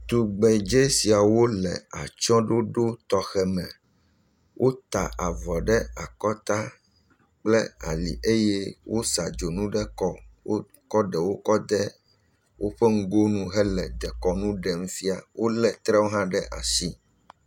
Tugbedze siawo le atsyɔ̃ɖoɖo tɔxɛ me. Wota avɔ ɖe akɔta kple ali eye wosa dzonu ɖe kɔ, wokɔ ɖewo kɔ de woƒe ŋgonu hele dekɔnu ɖem fia. Wolé trewo hã ɖe asi.